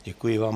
Děkuji vám.